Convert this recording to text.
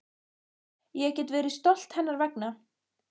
Ég get verið stolt hennar vegna.